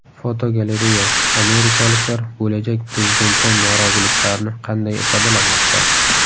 Fotogalereya: Amerikaliklar bo‘lajak prezidentdan noroziliklarini qanday ifodalamoqda?.